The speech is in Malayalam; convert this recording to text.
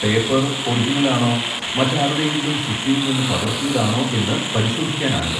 പേപ്പർ ഒറിജിനലാണോ മറ്റാരുടെയെങ്കിലും സൃഷ്ടിയിൽ നിന്ന് പകർത്തിയതാണോ എന്ന് പരിശോധിക്കാനാണിത്.